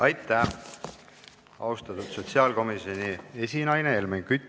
Aitäh, austatud sotsiaalkomisjoni esinaine Helmen Kütt!